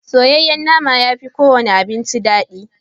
Soyayyen nama ya fi kowane abinci daɗi.